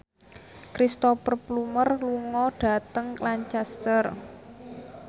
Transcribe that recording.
Cristhoper Plumer lunga dhateng Lancaster